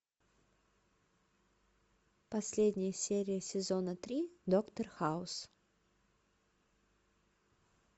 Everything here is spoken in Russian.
последняя серия сезона три доктор хаус